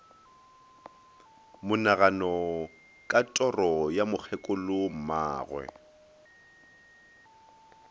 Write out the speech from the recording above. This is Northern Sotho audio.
monagano ka toro ya mokgekolommagwe